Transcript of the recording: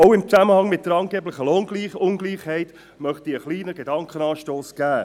Auch im Zusammenhang mit der angeblichen Lohnungleichheit möchte ich einen kleinen Gedankenanstoss geben: